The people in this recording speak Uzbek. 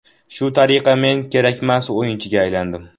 Shu tariqa men kerakmas o‘yinchiga aylandim.